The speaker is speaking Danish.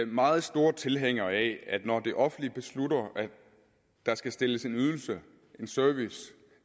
meget store tilhængere af at når det offentlige beslutter at der skal stilles en ydelse en service